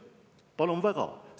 Palun väga!